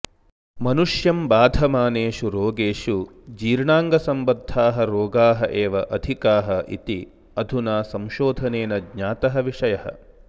मनुष्यं बाधमानेषु रोगेषु जीर्णाङ्गसम्बद्धाः रोगाः एव अधिकाः इति अधुना संशोधनेन ज्ञातः विषयः